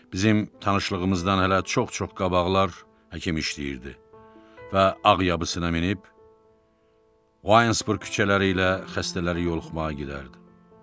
Bizim tanışlığımızdan hələ çox-çox qabaqlar həkim işləyirdi və ağ yabısına minib, Oynesburq küçələri ilə xəstələri yoluxmağa gedərdi.